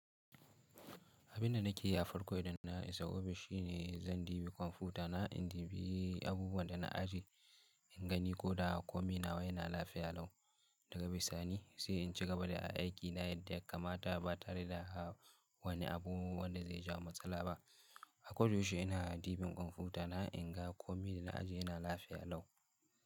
Abin da nake a farko idan na isa ofis shine zan dibi kwamfuta na in dibi abubuwan da na ajiye in gani ko da komi nawa yana lafiya lau daga bisa ni sai in cigaba da aiki na yadda kamata ba tare da wani abu wanda zai ja matsala ba. A koyaushe ina dibin kwamfuta na in ga kwami da na ajiye yana lafiya lau.